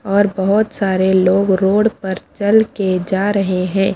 और बहुत सारे लोग रोड पर चल के जा रहे हैं।